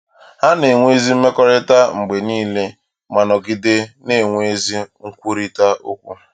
Ha na-enwe ezi mmekọrịta mgbe nile ma nọgide na-enwe ezi nkwurịta okwu.